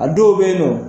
A dɔw bɛ yen nɔ